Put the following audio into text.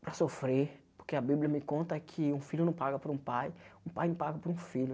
para sofrer, porque a Bíblia me conta que um filho não paga por um pai, um pai não paga por um filho.